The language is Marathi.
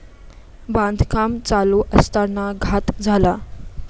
बांधकाम चालू असताना घात झाला.